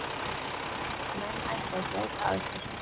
Menn ættu að gæta að sér.